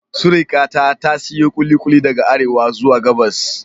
Surikata ta siyo kulikuli daga Arewa zuwa Gabas.